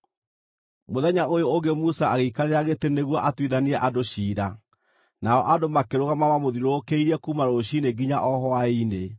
Mũthenya ũyũ ũngĩ Musa agĩikarĩra gĩtĩ nĩguo atuithanie andũ ciira, nao andũ makĩrũgama mamũthiũrũrũkĩirie kuuma rũciinĩ nginya o hwaĩ-inĩ.